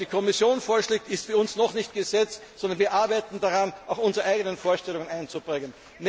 so. Was die Kommission vorschlägt, ist für uns noch nicht Gesetz, sondern wir arbeiten daran, auch unsere eigenen Vorstellungen einzubringen.